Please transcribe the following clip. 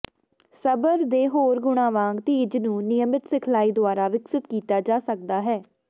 ਸਬਰ ਦੇ ਹੋਰ ਗੁਣਾਂ ਵਾਂਗ ਧੀਰਜ ਨੂੰ ਨਿਯਮਤ ਸਿਖਲਾਈ ਦੁਆਰਾ ਵਿਕਸਿਤ ਕੀਤਾ ਜਾ ਸਕਦਾ ਹੈ